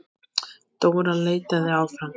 Dóra leitaði áfram.